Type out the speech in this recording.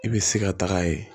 I bɛ se ka taga ye